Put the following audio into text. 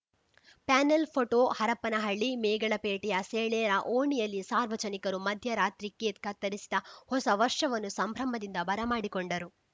panel photo Harapanahalli ಮೇಗಳಪೇಟೆಯ ಸಾಳೇರ ಓಣಿಯಲ್ಲಿ ಸಾರ್ವಜನಿಕರು ಮಧ್ಯ ರಾತ್ರಿ ಕೇಕ್‌ ಕತ್ತರಿಸಿದ ಹೊಸ ವರ್ಷವನ್ನು ಸಂಭ್ರಮದಿಂದ ಬರ ಮಾಡಿಕೊಂಡರು